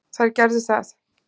Þær gerðu það.